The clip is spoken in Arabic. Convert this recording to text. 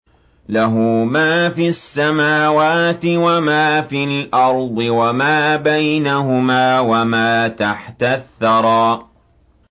لَهُ مَا فِي السَّمَاوَاتِ وَمَا فِي الْأَرْضِ وَمَا بَيْنَهُمَا وَمَا تَحْتَ الثَّرَىٰ